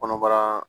Kɔnɔbara